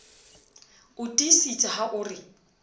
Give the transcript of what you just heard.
o tiisitse ha o re